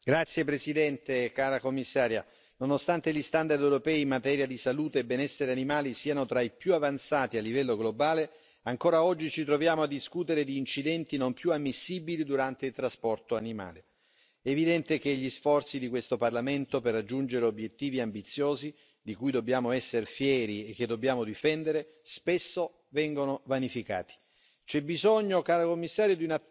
Signor Presidente, signora Commissario, onorevoli colleghi, nonostante gli standard europei in materia di salute e benessere animale siano tra i più avanzati a livello globale, ancora oggi ci troviamo a discutere di incidenti non più ammissibili durante il trasporto degli animali. È evidente che gli sforzi di questo Parlamento per raggiungere obiettivi ambiziosi, di cui dobbiamo essere fieri e che dobbiamo difendere, spesso vengano vanificati.